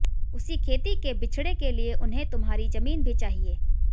उसी खेती के बिचड़े के लिए उन्हें तुम्हारी जमीन भी चाहिए